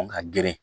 Ka geren